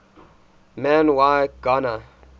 man y gana